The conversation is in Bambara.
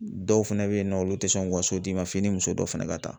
Dɔw fɛnɛ be yen nɔ olu te sɔn u ka so d'i ma f'i ni muso dɔw fɛnɛ ka ta